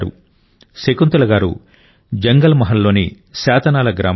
శకుంతల గారు జంగల్ మహల్లోని శాతనాల గ్రామ నివాసి